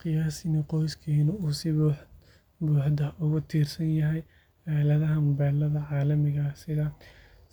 Qiyaas in qoyskeennu uu si buuxda ugu tiirsan yahay aaladaha mobilada caalamiga ah sida